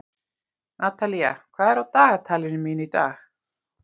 Natalía, hvað er á dagatalinu mínu í dag?